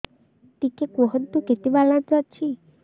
ଟିକେ କୁହନ୍ତୁ କେତେ ବାଲାନ୍ସ ଅଛି